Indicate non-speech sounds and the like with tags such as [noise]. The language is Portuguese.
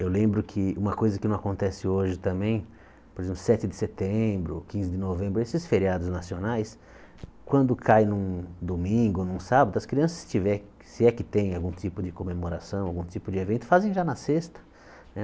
Eu lembro que uma coisa que não acontece hoje também, por exemplo, sete de setembro, quinze de novembro, esses feriados nacionais, quando cai num domingo, num sábado, as crianças, [unintelligible] se é que tem algum tipo de comemoração, algum tipo de evento, fazem já na sexta.